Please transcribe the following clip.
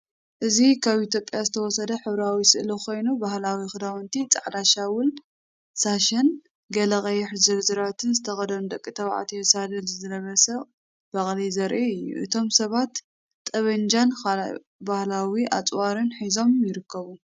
እዚ ካብ ኢትዮጵያ ዝተወሰደ ሕብራዊ ስእሊ ኮይኑ፡ ባህላዊ ክዳውንቲ (ጻዕዳ ሻውል/ሳሸን ገለ ቀይሕ ዝርዝራትን) ዝተኸድኑ ደቂ ተባዕትዮን ሳድል ዝለበሰ በቕሊ ዘርኢ እዩ። እቶም ሰባት ጠበንጃን ካልእ ባህላዊ ኣጽዋርን ሒዞም ይርከቡ።